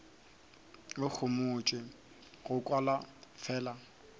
go homotšwe go kwala fela